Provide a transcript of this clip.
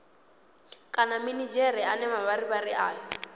kana minidzhere ane mavharivhari ayo